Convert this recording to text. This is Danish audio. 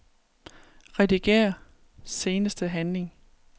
Rediger seneste handling.